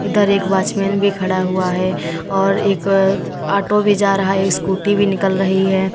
अंदर एक वॉचमैन भी खड़ा हुआ है और एक ऑटो भी जा रहा है स्कूटी भी निकल रही है।